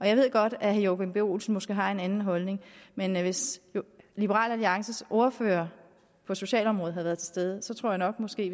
jeg ved godt at herre joachim b olsen måske har en anden holdning men hvis liberal alliances ordfører på socialområdet havde været til stede tror jeg måske